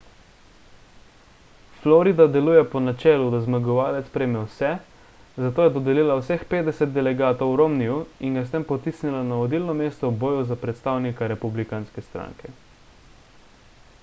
florida deluje po načelu da zmagovalec prejme vse zato je dodelila vseh petdeset delegatov romneyju in ga s tem potisnila na vodilno mesto v boju za predstavnika republikanske stranke